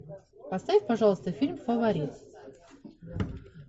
поставь пожалуйста фильм фаворит